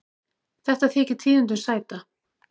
Þetta þykir tíðindum sæta.